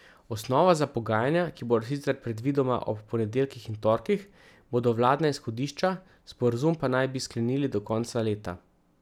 Osnova za pogajanja, ki bodo sicer predvidoma ob ponedeljkih in torkih, bodo vladna izhodišča, sporazum pa naj bi sklenili do konca leta.